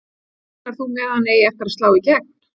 Reiknar þú með að hann eigi eftir að slá í gegn?